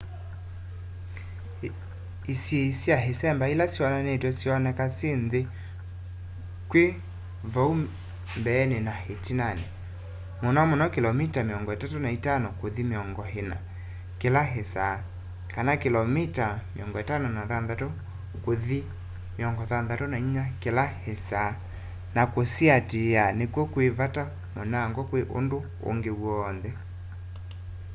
isiĩi sya ĩsemba ila syonanĩtw'e syoneka syĩ nthĩ kwĩ vau mbeenĩ na ĩtinanĩ - mũno mũno kĩlomita 35 kũthi 40 kĩla ĩsaa kĩlomita 56 kũthi 64 kĩla ĩsaa - na kũsiatĩĩa nĩkw'o kwĩ vata mũnango kwĩ ũndũ ũngĩ w'onthe